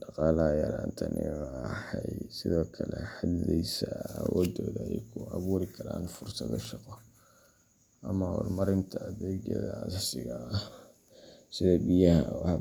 Dhaqaalaha yaraantani waxay sidoo kale xadidaysaa awooddooda ay ku abuuri karaan fursado shaqo ama horumarinta adeegyadii aasaasiga ahaa sida biyaha.